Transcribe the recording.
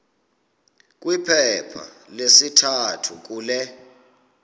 kwiphepha lesithathu kule